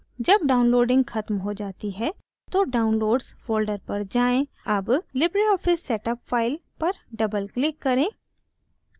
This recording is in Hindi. जब downloading ख़त्म हो जाती है तो downloads folder पर जाएँ double libreoffice setup up file पर double click करें